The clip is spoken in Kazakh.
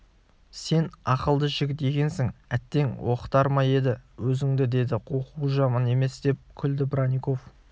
сен ақылды жігіт екенсің әттең оқытар ма еді өзіңді деді оқуы жаман емес деп күлді бронников